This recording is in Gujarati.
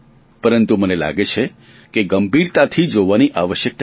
પરંતુ મને લાગે છે કે ગંભીરતાથી જોવાની આવશ્યકતા છે